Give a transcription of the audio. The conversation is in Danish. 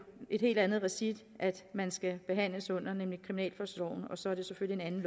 et helt andet regi man skal behandles i nemlig kriminalforsorgen og så er det selvfølgelig en